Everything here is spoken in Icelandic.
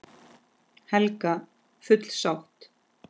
Helga: Full sátt?